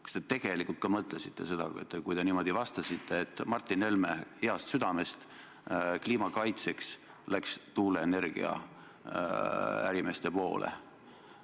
Kui te niimoodi vastasite, kas te tegelikult ka mõtlesite seda, et Martin Helme heast südamest ja kliima kaitseks asus tuuleenergia ärimeeste poolele?